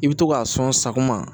I bɛ to k'a sɔn sakuma